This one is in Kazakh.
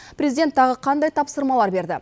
президент тағы қандай тапсырмалар берді